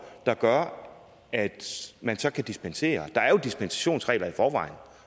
der gør at man så kan dispensere der er jo dispensationsregler i forvejen